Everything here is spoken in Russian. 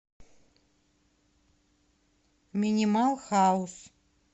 минимал хаус